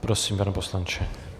Prosím, pane poslanče.